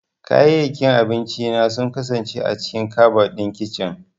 Kayayyakin abinci na sun kasance a cikin kabad ɗin kicin.